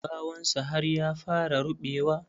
Gawan sa har ya fara ruɓewa.